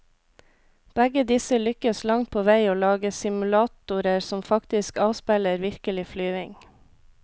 Begge disse lykkes langt på vei å lage simulatorer som faktisk avspeiler virkelig flyving.